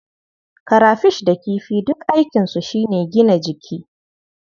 Karafish da kifi duk aikinsu shi ne gina jiki.